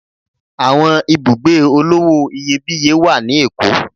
Àwọn ibùgbé olówò iyebíye wá ní Èkó.